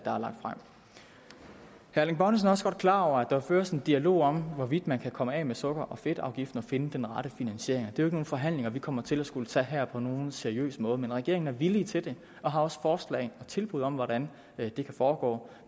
herre erling bonnesen er også godt klar over at der føres en dialog om hvorvidt man kan komme af med sukker og fedtafgiften og finde den rette finansiering det er nogen forhandlinger vi kommer til at skulle tage her på nogen seriøs måde men regeringen er villig til og har også forslag og tilbud om hvordan det kan foregå